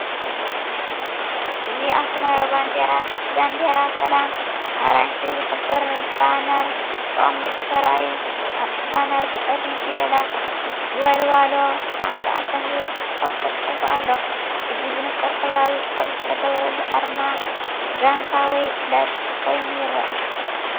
እዚ ኣብ ሰማያዊ ባንዴራ ሰላም ኣራንሺ ዝሕብሩ ባነር ተቐሚጡ ተራእዩ። ኣብቲ ባነር ብጸሊም ፊደላት “ወልዋሎ 99” ዝብል ጽሑፍ ተጻሒፉ ኣሎ። እዚ ብንጹር ሕብራዊ ኮድ ዝተገብረሉ ኣርማ ጋንታ ወይ ክለብ ኮይኑ ይረአ።